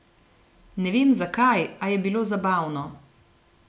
Ne vem, zakaj, a je bilo zabavno.